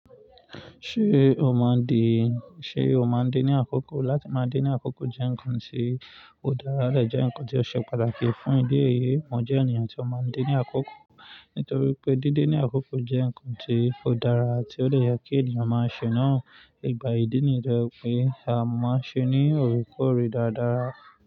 Ṣé o máa ń din, ṣe o máa ń din ní àkókò? Láti máa dé ní àkókò jẹ́ nǹkan tí ó dára, lè jẹ́ nǹkan tí ó ṣe pàtàkì fún ìdí èyí. Mo jẹ́ ènìyàn tí ó máa ń dé ní àkókò nítorí pé dídín ní àkókò jẹ́ nǹkan tí ó dára àti ó le yẹ kí ènìyàn máa ṣe náà. Ìgbà ìdí nìyẹn pé a máa ń ṣe ní òrùkọ rí dáadáa.